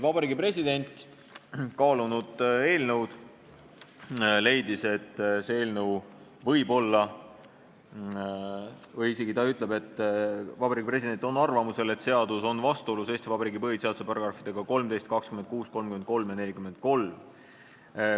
Vabariigi President, kaalunud eelnõu, leidis: "Olen arvamusel, et seadus on vastuolus Eesti Vabariigi põhiseaduse §-dega 13, 26, 33 ja 43.